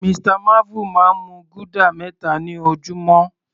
Mr marvel máa ń mu guda meta ni ojúmọ́.